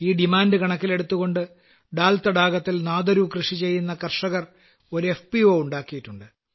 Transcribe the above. ഈ ഡിമാന്റ് കണക്കിലെടുത്തുകൊണ്ട് ഡാൽതടാകത്തിൽ നാദരു കൃഷി ചെയ്യുന്ന കർഷകർ ഒരു എഫ് പി ഒ ഉണ്ടാക്കിയിട്ടുണ്ട്